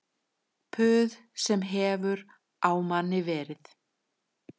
Puð sem hefur á manni verið